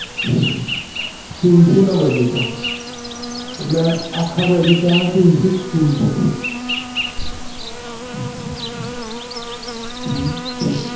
તુલસી નો બગીચો? એટલે આખા બગીચા માં તુલસી જ તુલસી? હમ